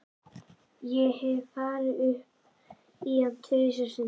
Ég hef farið upp í hann tvisvar sinnum.